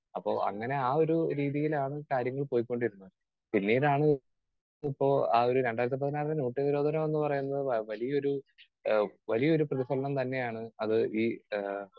Speaker 2 അപ്പൊ അങ്ങനെ ആ ഒരു രീതിയിലാണ് കാര്യങ്ങൾ പോയിക്കൊണ്ടിരുന്നത്. പിന്നീടാണ് ഇപ്പൊ ആ ഒരു രണ്ടായിരത്തി പതിനാറിലെ നോട്ട് നിരോധനം എന്നു പറയുന്നത് വ വലിയൊരു ആഹ് വലിയൊരു പ്രതിഫലനം തന്നെയാണ് അത് ഈ ആഹ്